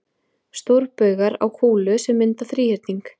Stórbaugar á kúlu sem mynda þríhyrning.